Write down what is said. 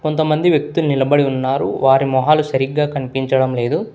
కొంతమంది వ్యక్తులు నిలబడి ఉన్నారు వారి మొహాలు సరిగ్గా కనిపించడం లేదు.